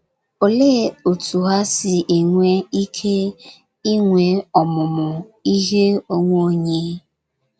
Olee otú ha si enwe ike inwe ọmụmụ ihe onwe onye?